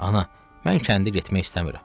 Ana, mən kəndə getmək istəmirəm.